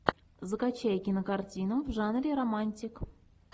закачай кинокартину в жанре романтик